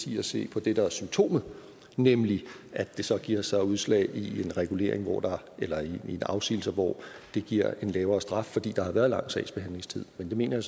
i at se på det der er symptomet nemlig at det så giver sig udslag i en regulering eller i afsigelser hvor det giver en lavere straf fordi der har været lang sagsbehandlingstid men det mener